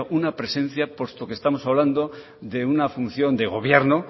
una presencia puesto que estamos hablando de una función de gobierno